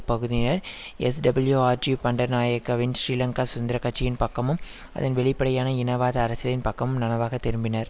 பகுதியினர் எஸ்டபிள்யுஆர்டி பண்டநாயக்கவின் ஸ்ரீலங்கா சுந்தரக் கட்சியின் பக்கமும் அதன் வெளிப்படையான இனவாத அரசியலின் பக்கமும் நனவாக திரும்பினர்